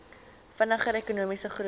vinniger ekonomiese groei